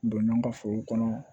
Donna an ka foro kɔnɔ